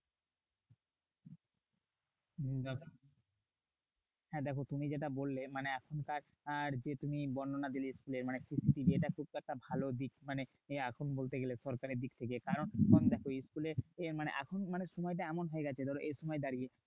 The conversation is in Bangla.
হ্যাঁ দেখো তুমি যেটা বললে এখনকার যে তুমি বর্ণনা দিলে school এর মানে CCTV এটা কিন্তু একটা ভালো দিক। মানে এখন বলতে গেলে সরকারের দিক থেকে। কারণ দেখো school এ মানে এখন মানে সময়টা এমন হয়ে গেছে ধরো এই সময় দাঁড়িয়ে